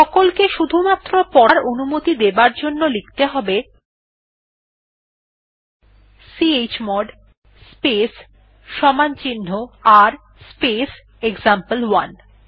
সকলকে শুধুমাত্র পড়ার অনুমতি দেবার জন্য লিখতে হবে chmod space r space example one